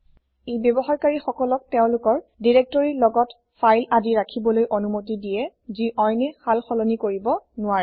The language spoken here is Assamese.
ই ব্যৱহাৰকাৰি সকলক তেওঁলোকৰ দিৰেক্তৰিৰ লগতে ফাইল আদি ৰাখিবলৈ অনুমতি দিয়ে যি অইনে শাল শলনি কৰিব নোৱাৰে